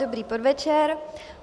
Dobrý podvečer.